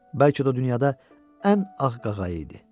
Bəlkə də o dünyada ən ağ qağayı idi.